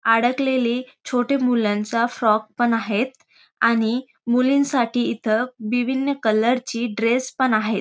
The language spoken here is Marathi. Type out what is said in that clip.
अडकलेले छोट्या मुलांचा फ्रॉक पण आहेत आणि मुलींसाठी इथ विभिन्न कलर ची ड्रेस पण आहेत.